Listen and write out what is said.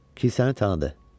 Kilsəni tanıdı.